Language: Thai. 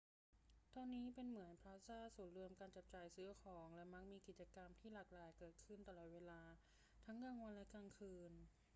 ตอนนี้เป็นเหมือนพลาซ่าศูนย์รวมการจับจ่ายซื้อของ และมักมีกิจกรรมที่หลากหลายเกิดขึ้นตลอดเวลาทั้งกลางวันและกลางคืน